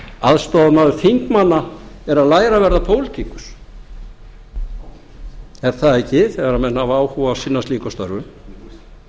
aðstoðarmaður þingmanna er að læra að verða pólitíkus er það ekki þegar menn hafa áhuga á að sinna slíkum störfum